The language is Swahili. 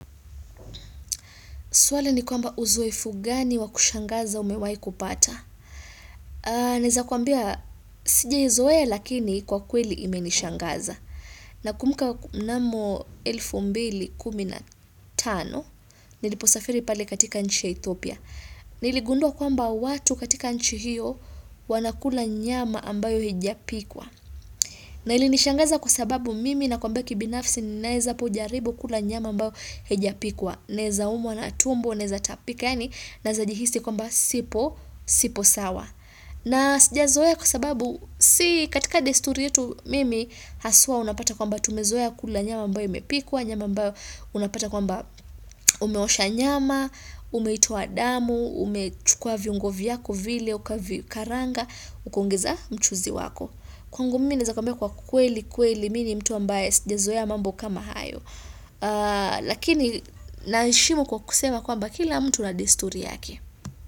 Swali ni kwamba uzoefu gani wakushangaza umewaikupata. Naeza kuambia sijaizoea lakini kwa kweli imenishangaza. Nakumbuka mnamo elfu mbili kumi na tano niliposafiri pale katika nchi ya ethopia. Niligundua kwamba watu katika nchi hiyo wanakula nyama ambayo hijapikwa. Na ilinishangaza kwa sababu mimi na kwamba kibinafsi ninaeza pojaribu kula nyama ambayo haijapikwa. Naeza umwa na tumbo, neza tapika yaani, naezajihisi kwamba sipo, sipo sawa na sija zoe kwa sababu si katika desturi yetu mimi hasua unapata kwamba tumezoea kula nyama ambayo imepikwa, nyama ambayo unapata kwamba umeosha nyama umeitoa damu umechukua viungo vyako vile ukavi karanga, ukaongeza mchuzi wako, kwangu mimi neza kwamba kwa kweli kweli, mini mtu ambaye sijazoe mambo kama hayo lakini naheshimu kwa kusema kwamba kila mtu na desturi yake.